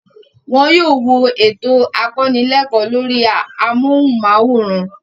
Wọn yóò wo ètò akọnílẹ́ẹ̀kọ́ lórí amóhùnmáwòrán.